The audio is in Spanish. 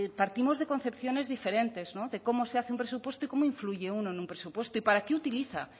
partimos de concepciones diferentes no de cómo se hace un presupuesto y cómo influye uno en un presupuesto y para qué utiliza